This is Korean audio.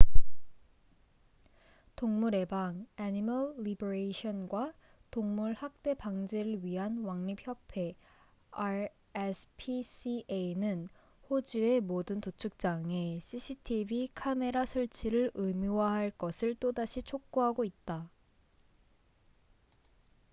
동물 해방animal liberation과 동물 학대 방지를 위한 왕립협회rspca는 호주의 모든 도축장에 cctv 카메라 설치를 의무화할 것을 또다시 촉구하고 있다